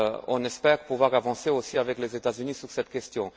On espère pouvoir avancer aussi avec les États Unis sur cette question.